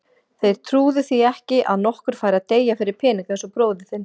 Þeir trúðu því ekki að nokkur færi að deyja fyrir peninga eins og bróðir þinn.